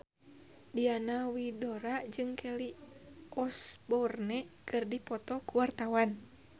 Diana Widoera jeung Kelly Osbourne keur dipoto ku wartawan